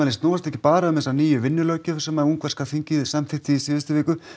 snúast ekki bara um þessa nýju vinnulöggjöf sem ungverska þingið samþykkti í síðustu viku